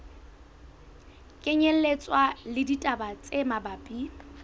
kenyelletswa le ditaba tse mabapi